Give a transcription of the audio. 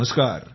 नमस्कार